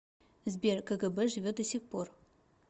сбер кгб живет до сих пор